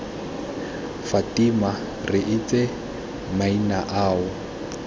fatima re itse maina ao